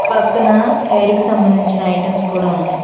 పక్కన హెయిర్ కి సంబంధించిన ఐటమ్స్ కూడా ఉన్నాయి.